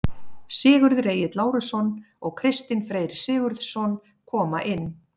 Sigurður Egill Lárusson og Kristinn Freyr Sigurðsson koma inn.